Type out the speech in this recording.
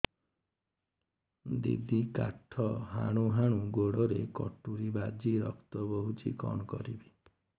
ଦିଦି କାଠ ହାଣୁ ହାଣୁ ଗୋଡରେ କଟୁରୀ ବାଜି ରକ୍ତ ବୋହୁଛି କଣ କରିବି